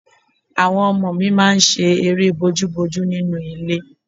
Àwọn ọmọ mi máa ń ṣe eré bójúbojú nínú ilé